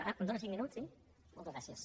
ah em dóna cinc minuts sí moltes gràcies